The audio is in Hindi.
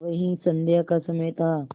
वही संध्या का समय था